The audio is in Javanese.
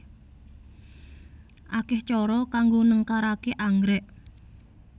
Akeh cara kanggo nengkaraké anggrék